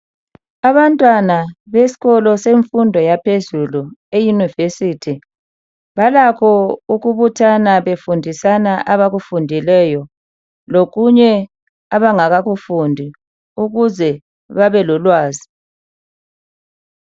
Abantwana besikolo semfundo yaphezulu eyunivesithi balakho ukubuthana befundisana abakufundeleyo lokunye abangakakufundi ukuze babelolwazi.